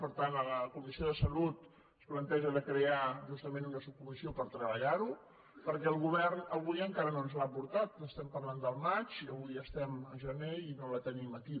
per tant en la comissió de salut es planteja de crear justament una subcomissió per treballar ho perquè el govern avui encara no ens l’ha portat estem parlant del maig i avui estem a gener i no la tenim aquí